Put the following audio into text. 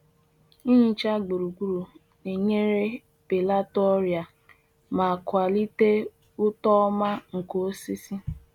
Ịhicha gburugburu na-enyere belata ọrịa ma kwalite uto ọma nke osisi